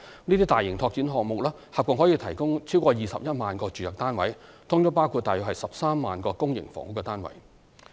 這些大型拓展項目合共可提供逾21萬個住宅單位，包括約13萬個公營房屋單位。